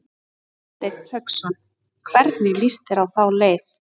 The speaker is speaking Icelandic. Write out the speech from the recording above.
Hafsteinn Hauksson: Hvernig lýst þér á þá leið?